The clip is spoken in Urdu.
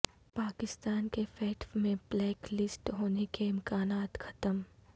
پاکستان کے فیٹف میں بلیک لسٹ ہونے کےامکانات ختم